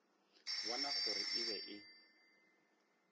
bona gore e be e